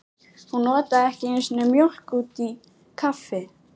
Hún notaði ekki einu sinni mjólk út í kaffi.